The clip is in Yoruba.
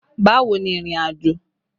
Bawo ni ìrìnàjò?